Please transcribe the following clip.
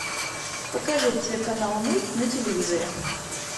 покажи телеканал мульт на телевизоре